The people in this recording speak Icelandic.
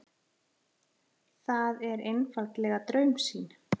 Það er einfaldlega draumsýn.